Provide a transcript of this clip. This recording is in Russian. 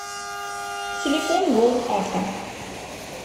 телефон голд авто